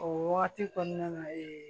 O wagati kɔnɔna na